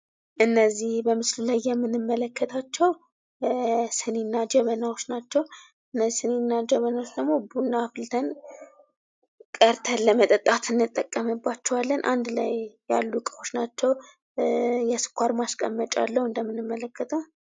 እነዚህ በምስሉ ላይ የምንመለከታቸው ስኒና ጀበናዎች ናቸው። እኒህ ስኒና ጀበናዎች ደግሞ ቡና አፍልተን ሸድተን ለመጠጣት እንጠቀምባቸዋለን። አንድ ላይ ያሉ እቃዎች ናቸው። የስኳር ማስቀመጫ አለው እንደምንመለከተው።